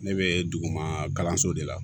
Ne bɛ duguma kalanso de la